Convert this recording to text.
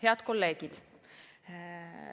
Head kolleegid!